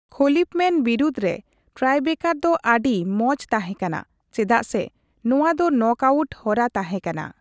Khalifman ᱵᱤᱨᱩᱫᱽ ᱨᱮ tiebreaker ᱫᱚ ᱟᱹᱰᱤ ᱢᱚᱸᱪ ᱛᱟᱸᱦᱮ ᱠᱟᱱᱟ ᱾ ᱪᱮᱫᱟᱜ ᱥᱮ ᱱᱚᱣᱟ ᱫᱚ ᱱᱚᱠ ᱟᱣᱩᱴ ᱦᱚᱨᱟ ᱛᱟᱸᱦᱮ ᱠᱟᱱᱟ ᱾